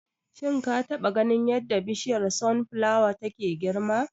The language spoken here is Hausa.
Shin ka taba ganin yadda Bishiyar Sun flawa take girma?